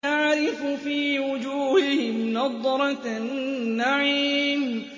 تَعْرِفُ فِي وُجُوهِهِمْ نَضْرَةَ النَّعِيمِ